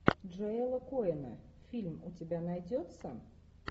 джоэла коэна фильм у тебя найдется